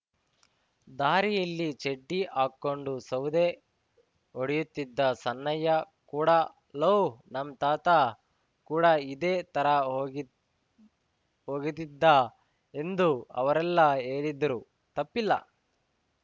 ದಾರಿಯಲ್ಲಿ ಚಡ್ಡಿ ಹಾಕೊಂಡು ಸೌದೆ ಹೊಡೆಯುತ್ತಿದ್ದ ಸಣ್ಣಯ್ಯ ಕೂಡ ಲೋ ನಮ್‌ ತಾತ ಕೂಡ ಇದೇ ತರ ಹೋ ಹೋಗಿದಿದ್ದ ಎಂದು ಅವರೆಲ್ಲ ಹೇಳಿದ್ರು ತಪ್ಪಿಲ್ಲ